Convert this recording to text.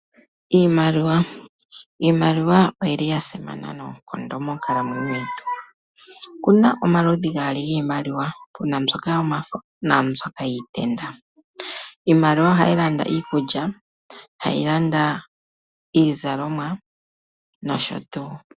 Iimaliwa, iimaliwa oyili yasimana noonkondo monkalamwenyo yetu. Opuna omaludhi gaali giimaliwa, puna mboka yomafo naambyoka yiitenda. Iimaliwa ohayi landa iikulya, hayi landa iizalomwa nosho tuu.